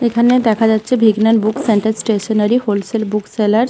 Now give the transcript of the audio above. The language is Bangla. এখানে দেখা যাচ্ছে হল সেল বুক সেলার্স ।